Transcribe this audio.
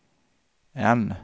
N